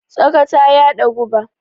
Tsaka ta yaɗa guba.